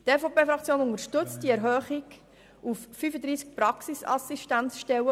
Die EVP-Fraktion unterstützt die Erhöhung auf 35 Praxisassistenzstellen.